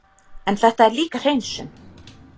En þetta er líka hreinsun.